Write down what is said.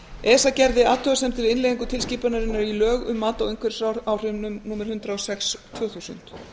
esa gerði athugasemdir við innleiðingu tilskipunarinnar í lög um mat á umhverfisáhrifum númer hundrað og sex tvö þúsund